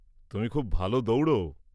-তুমি খুব ভালো দৌড়ও।